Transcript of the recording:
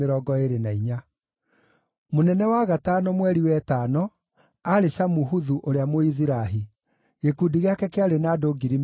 Mũnene wa gatano mweri wa ĩtano, aarĩ Shamuhuthu ũrĩa Mũizirahi. Gĩkundi gĩake kĩarĩ na andũ 24,000.